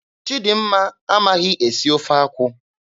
Chidimma amaghị esi ofe akwụ.